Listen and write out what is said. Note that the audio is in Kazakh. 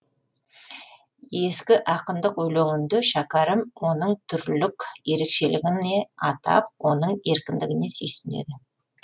ескі ақындық өлеңінде шәкәрім оның түрлік ерекшелігіне атап оның еркіндігіне сүйсінеді